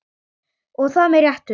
Og það með réttu.